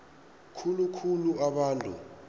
khulu khulu abantu